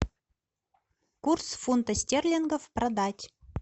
курс фунта стерлингов продать